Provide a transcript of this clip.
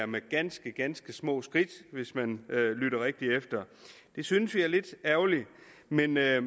med ganske ganske små skridt hvis man lytter rigtig efter det synes vi er lidt ærgerligt men jeg